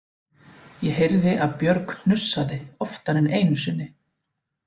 Ég heyrði að Björg hnussaði oftar en einu sinni